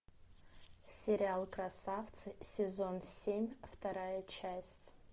сериал красавцы сезон семь вторая часть